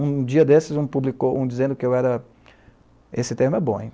Um dia desses um publicou, um dizendo que eu era... Esse termo é bom, hein?